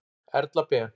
Erla Ben.